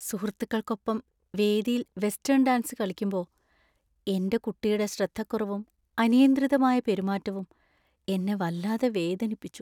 സുഹൃത്തുക്കൾക്കൊപ്പം വേദിയിൽ western‍ dance കളിക്കുമ്പോ എന്‍റെ കുട്ടിയുടെ ശ്രദ്ധക്കുറവും അനിയന്ത്രിതമായ പെരുമാറ്റവും എന്നെ വല്ലാതെ വേദനിപ്പിച്ചു.